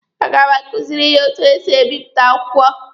A ga m akuziri ya etu esi ebipụta akwụkwọ.